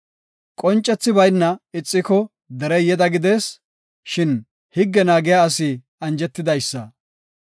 Qoncethi bayna ixiko derey yeda gidees; shin higge naagiya asi anjetidaysa.